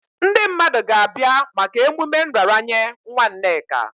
Ndị mmadụ ga-abịa maka emume nraranye nwa Nneka.